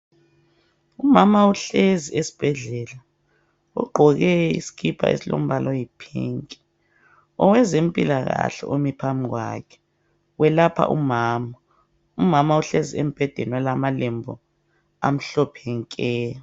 Umama uhlezi esibhedlela ugqoke isikipa esilombala oyi"pink"owezempilakahle omi phambi kwakhe welapha umama. Umama uhlezi embhedeni olamalembu amhlophe nke.